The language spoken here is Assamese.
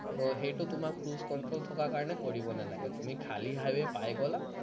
তো সেইটো তোমাৰ cruise control থকাৰ কাৰণে কৰিব নালাগে তুমি খালী পায় গলা